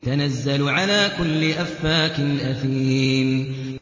تَنَزَّلُ عَلَىٰ كُلِّ أَفَّاكٍ أَثِيمٍ